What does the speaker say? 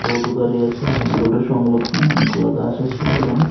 টোটো দাঁড়িয়ে আছে মেইন রোডের সংলগ্নে অনেকগুলা গাছ আছে সেখানে।